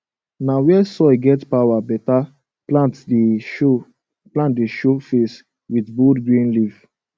na where soil get power beta plant dey show plant dey show face with bold green leaf